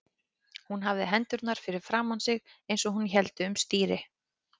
Hún hafði hendurnar fyrir framan sig eins og hún héldi um stýri.